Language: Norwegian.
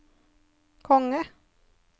konge